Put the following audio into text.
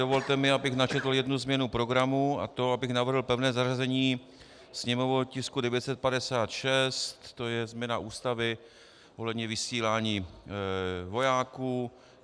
Dovolte mi, abych načetl jednu změnu programu, a to abych navrhl pevné zařazení sněmovního tisku 956, to je změna Ústavy ohledně vysílání vojáků.